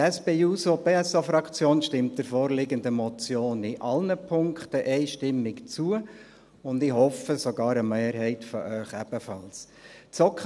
Die SP-JUSO-PSA-Fraktion stimmt der vorliegenden Motion in allen Punkten einstimmig zu, und ich hoffe, dass sogar eine Mehrheit von Ihnen ebenfalls zustimmt.